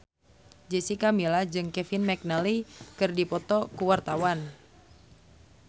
Jessica Milla jeung Kevin McNally keur dipoto ku wartawan